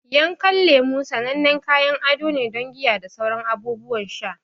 Yankan lemu sanannen kayan ado ne don giya da sauran abubuwan sha.